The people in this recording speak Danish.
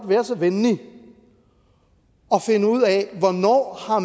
være så venlig at finde ud af hvornår